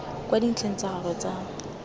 kwa dintlheng tsa gagwe tsa